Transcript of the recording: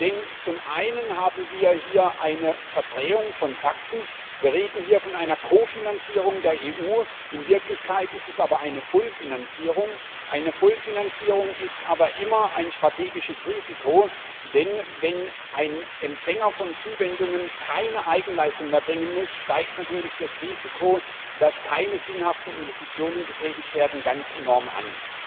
Denn zum einen haben wir hier eine Verdrehung von Fakten wir reden hier von einer Kofinanzierung der EU, in Wirklichkeit ist es aber eine Vollfinanzierung. Eine Vollfinanzierung ist aber immer ein strategisches Risiko, denn wenn ein Empfänger von Zuwendungen keine Eigenleistung mehr erbringen muss, steigt natürlich das Risiko, dass keine sinnhaften Investitionen getätigt werden, ganz enorm an.